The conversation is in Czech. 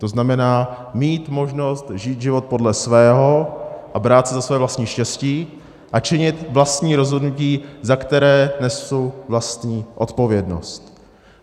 To znamená, mít možnost žít život podle svého a brát se za své vlastní štěstí a činit vlastní rozhodnutí, za které nesu vlastní odpovědnost.